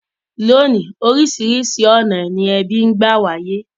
Lónìí, orísìrísi ọ̀nà ni ebí n gba wáyé